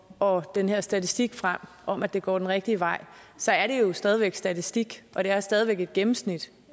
og den her statistik frem om at det går den rigtige vej så er det jo stadigvæk statistik og det er stadig væk et gennemsnit